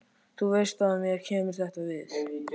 Þú veist að mér kemur þetta við.